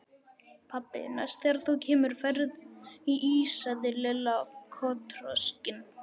Pabbi, næst þegar þú kemur færðu ís sagði Lilla kotroskin.